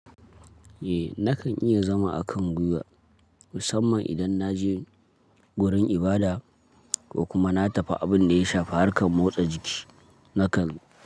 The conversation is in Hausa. Eh nakan iya zama akan gwiwa musamman idan na je wurin ibada ko kuma na tafi abin da ya shafi harkar motsa jiki nakan.